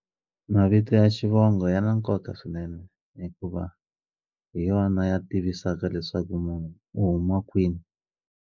Mavito ya xivongo ya na nkoka swinene hikuva hi yona ya tivisaka leswaku munhu u huma kwini.